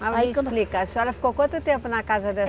Mas me explica, a senhora ficou quanto tempo na casa